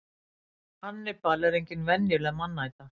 Hannibal er engin venjuleg mannæta.